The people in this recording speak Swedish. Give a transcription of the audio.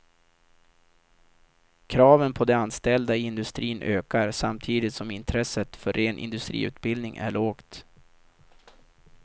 Kraven på de anställda i industrin ökar samtidigt som intresset för ren industriutbildning är lågt.